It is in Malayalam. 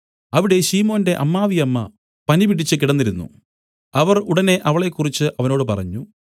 അവിടെ ശിമോന്റെ അമ്മാവിയമ്മ പനിപിടിച്ച് കിടന്നിരുന്നു അവർ ഉടനെ അവളെക്കുറിച്ച് അവനോട് പറഞ്ഞു